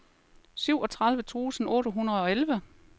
syvogtredive tusind otte hundrede og elleve